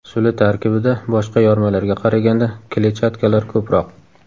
Suli tarkibida boshqa yormalarga qaraganda kletchatkalar ko‘proq.